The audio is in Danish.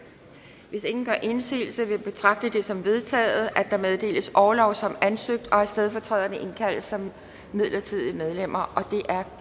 hvis ingen gør indsigelse vil jeg betragte det som vedtaget at der meddeles orlov som ansøgt og at stedfortræderne indkaldes som midlertidige medlemmer det er